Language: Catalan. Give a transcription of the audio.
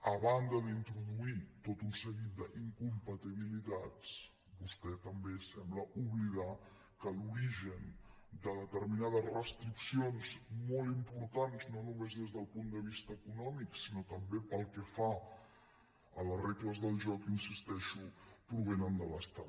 a banda d’introduir tot un seguit d’incompatibilitats vostè també sembla oblidar que l’origen de determi·nades restriccions molt importants no només des del punt de vista econòmic sinó també pel que fa a les regles del joc hi insisteixo provenen de l’estat